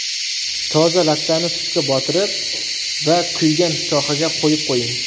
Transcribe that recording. Toza lattani sutga botiring va kuygan sohaga qo‘yib qo‘ying.